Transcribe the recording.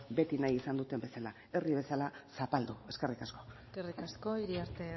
beti nahi izan duten bezala herri bezala zapaldu eskerrik asko eskerrik asko iriarte